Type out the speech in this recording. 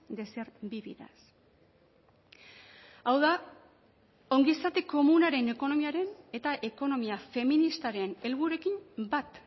de ser vividas hau da ongizate komunaren ekonomiaren eta ekonomia feministaren helburuekin bat